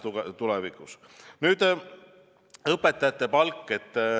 Nüüd, õpetajate palk.